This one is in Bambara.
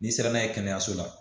N'i sera n'a ye kɛnɛyaso la